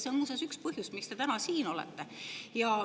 See on muuseas üks põhjus, miks te täna siin olete.